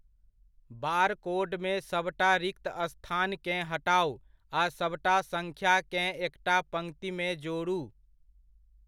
बारकोडमे सबटा रिक्त स्थानकेँ हटाउ आ सभटा सङ्ख्याकेँ एकटा पङ्क्तिमे जोड़ू।